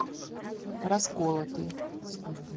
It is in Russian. расколотый